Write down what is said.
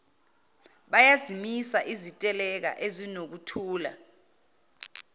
bayazimisa iziteleka ezinokuthula